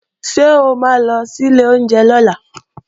Ṣé o ma lọ sí ilé oúnjẹ lọ́la?